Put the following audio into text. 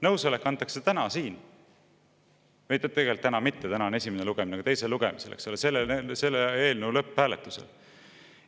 Nõusolek antakse täna siin, või tegelikult täna mitte, täna on esimene lugemine, aga teisel lugemisel, selle eelnõu lõpphääletusel.